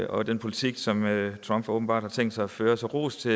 og i den politik som trump åbenbart har tænkt sig at føre så ros til